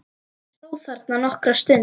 Hann stóð þarna nokkra stund.